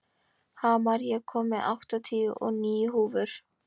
Hamar, ég kom með áttatíu og níu húfur!